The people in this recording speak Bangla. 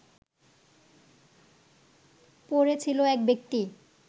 পড়ে ছিলো এক ব্যক্তি